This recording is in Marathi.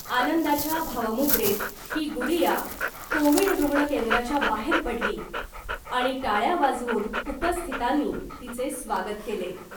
आनंदाच्या भावमुद्रेत ही गुडीया कोविड रुग्ण केंद्राच्या बाहेर पडली आणि टाळ्या वाजवून उपस्थितांनी तिचे स्वागत केले .